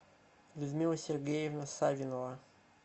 людмила сергеевна савинова